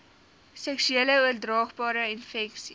seksueel oordraagbare infeksies